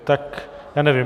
Tak já nevím.